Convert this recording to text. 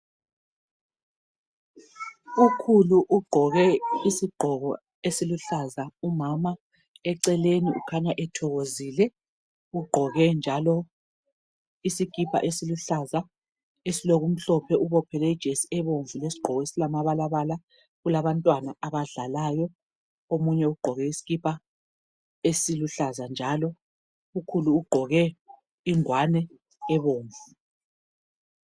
Ukhulu ugqoke isigqoko esiluhlaza umama eceleni ukhanya ethokozile ugqoke njalo isikipa esiluhlaza esilokumhlophe ubophele ijesi ebomvu lesigqoko esilamabalabala kulabantwana abadlalayo omunye ugqoke iskipa esiluhlaza njalo ukhulu ugqoke ingwane ebomvu.